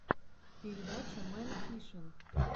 передача мэн фишин